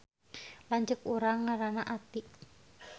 Lanceuk urang ngaranna Aty